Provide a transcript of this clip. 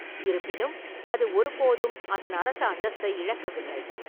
இருப்பினும், அது ஒருபோதும் அதன் அரச அந்தஸ்தை இழக்கவில்லை.